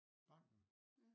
Banken?